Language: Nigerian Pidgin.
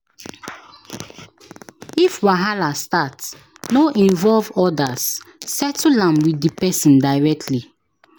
If wahala start, no involve others, settle am with the person directly.